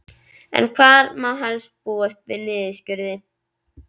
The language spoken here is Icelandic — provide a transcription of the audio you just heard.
En hvar má helst búast við niðurskurði?